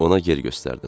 Ona yer göstərdim.